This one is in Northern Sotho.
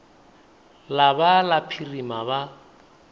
la ba la phirima ba